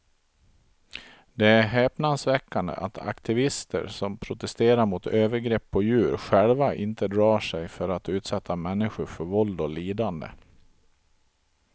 Det är häpnadsväckande att aktivister som protesterar mot övergrepp på djur själva inte drar sig för att utsätta människor för våld och lidande.